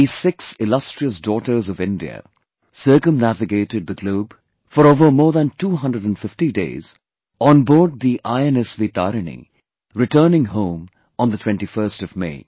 These six illustrious daughters of India circumnavigated the globe for over more than 250 days on board the INSV Tarini, returning home on the 21st of May